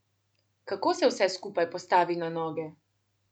Kako se vse skupaj postavi na noge?